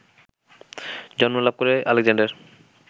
জন্ম লাভ করে আলেকজান্ডার